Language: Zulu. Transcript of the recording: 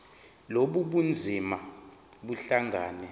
lobu bunzima buhlangane